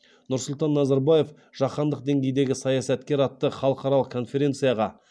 нұрсұлтан назарбаев жаһандық деңгейдегі саясаткер атты халықаралық конференцияға